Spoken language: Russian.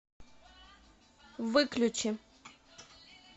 выключи